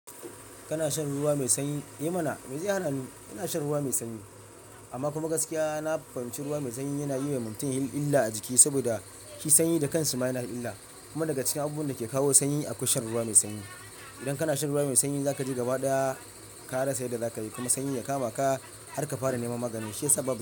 Kana shan ruwa mai sanyi? Eh mana mai zai hana ni, ina shan ruwa mai sanyi. Amma kuma gaskiya na fahimci ruwa mai sanyi yana yiwa mutum yin illa a jiki saboda shi sanyi da kansu ma yana illa. Kuma daga cikin abubuwan da ke kawo sanyi, akwai shan ruwa mai sanyi. Idan kana shan ruwa mai sanyi, za ka ji gaba ɗaya karasa yanda za ka yi kuma sanyi ya kama ka har ka fara nema magani. Shi ya sa babu.